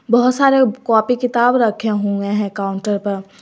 बहुत सारे कॉपी किताब रखे हुए हैं काउंटर पर।